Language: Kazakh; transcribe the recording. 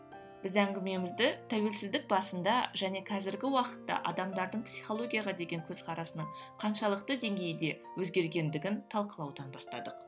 біз әңгімемізді тәуелсіздік басында және қазіргі уақытта адамдардың психологияға деген көзқарасының қаншалықты деңгейде өзгергендігін талқылаудан бастадық